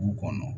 Du kɔnɔ